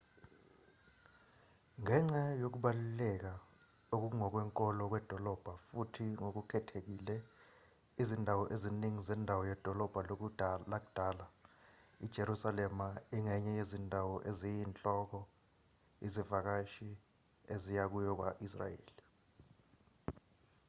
ngenxa yokubaluleka okungokwenkolo kwedolobha futhi ngokukhethekile izindawo eziningi zendawo yedolobha lakudala ijerusalema ingenye yezindawo eziyinhloko izivakashi eziya kuyo kwa-israyeli